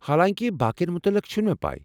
حالانکہِ، باقٮ۪ن متلق چھنہٕ مےٚ پیہ ۔